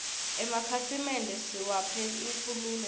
emakhasimende siwaphe inkhululeko